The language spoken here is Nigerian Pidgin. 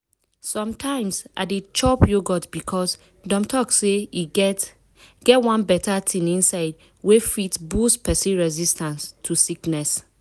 sometimes i dey chop yogurt because dem talk say e get get one beta thing inside wey fit boost persin resistance to sickness.